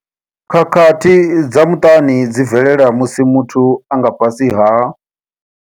Khakhathi dza muṱani dzi bvelela musi muthu a nga fhasi ha.